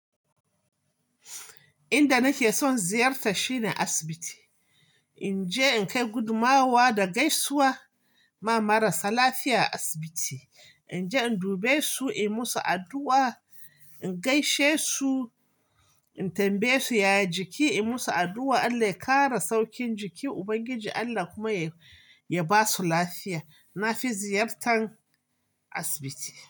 Inda nake son ziyarta shine asibiti. Inje in kai gudumawa da gaisuwa ma marasa lafiya a asibiti. Inje in dube su, in musu addu'a, in gaishe su, in tambaye su yayi jiki, in musu addu'a Allah ya kare saukin jikin Ubangiji Allah kuma ya basu lafiya. Na fi ziyartan asibiti.